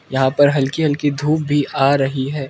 यहां पर हल्की हल्की धूप भी आ रही है।